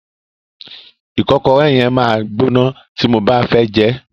Ìkọ́kọrẹ́ yẹn máa gbóná tí mo bá fẹ́ jẹẹ́.